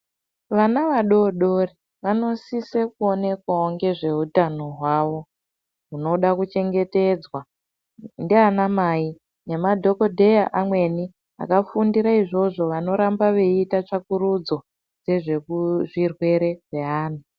Vana vadodori vanosise kuonekwao ngezveutano hwavo hunoda kuchengetedzwa ndianamai nemadhokodheya amweni aka fundira izvozvo vanoramba veiita tsvakurudzo yezvezvirwere zvevana.